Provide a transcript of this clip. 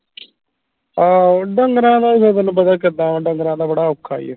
ਆਹੋ ਢੰਗਰਾਂ ਦਾ ਵੀ ਫੇਰ ਤੈਨੂੰ ਪਤਾ ਕਿੱਦਾਂ ਢੰਗਰਾਂ ਦਾ ਬੜਾ ਔਖਾ ਹੀ ਆ